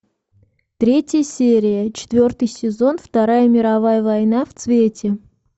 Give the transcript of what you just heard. третья серия четвертый сезон вторая мировая война в цвете